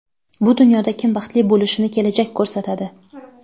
Bu dunyoda kim baxtli bo‘lishini kelajak ko‘rsatadi.